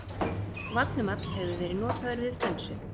vallhumall hefur verið notaður við flensu